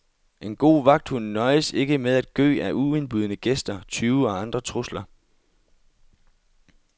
En god vagthund nøjes ikke med at gø ad uindbudne gæster, tyve og andre trusler.